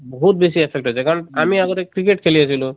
বহুত বেছি affect হৈ যায়, কাৰণ আমি আগতে cricket খেলি আছিলোঁ